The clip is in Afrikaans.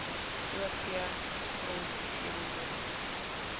o v gronderosiewerke